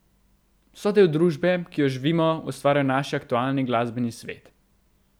So del družbe, ki jo živimo, ustvarjajo naš aktualni glasbeni svet.